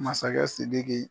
Masakɛ sidiki